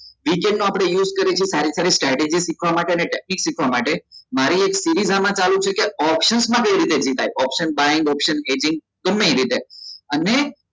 Weekend નો આપડે use કરીશું સારી સારી શીખવા માટે ને technique શીખવા માટે મારી એક series આમાં ચાલુ છે કે option માં કઈ રીતે જિતાય option buying option ગમ્મે એ રીતે અને